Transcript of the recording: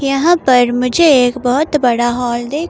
यहां पर मुझे एक बहोत बड़ा हॉल दिख--